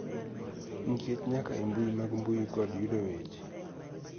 Nikech nyaka e mbui mag mbui kod yudo weche.